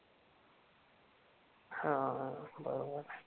हां बरोबर.